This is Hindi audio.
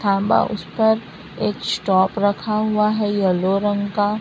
तांबा उस पर एक स्टॉप रखा हुआ है येलो रंग का--